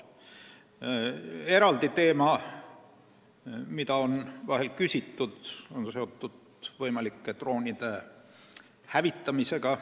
Eraldi teema, mille kohta on vahel küsitud, on seotud võimalike droonide hävitamisega.